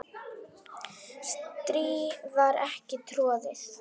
strý var ekki troðið